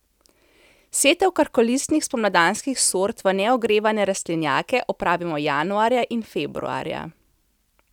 Setev krhkolistnih spomladanskih sort v neogrevane rastlinjake opravimo januarja in februarja.